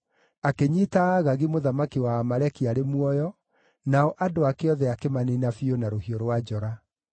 Akĩnyiita Agagi mũthamaki wa Aamaleki arĩ muoyo, nao andũ ake othe akĩmaniina biũ na rũhiũ rwa njora.